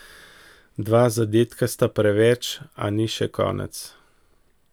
Dva zadetka sta preveč, a ni še konec.